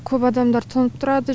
көп адамдар тоңып тұрады